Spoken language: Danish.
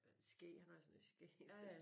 Skæg han har sådan et skæg der